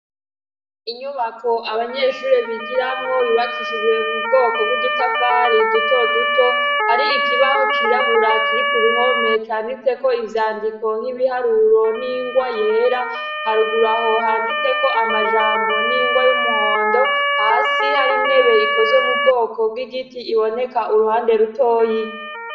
Inyubako abanyeshuri bigiramwo bibakishijwe mu bwoko bw'udutafari duto duto hari ikibaho cirabura kiri ku ruhome canditse ko ivyandiko nk'ibiharuro n'ingwa yera haruguraho handitseko amajambo n'ingwa y'umuhondo hasi hari ntebe ikozwe mu bwoko bw'igi iti iboneka uruhande rutoyi.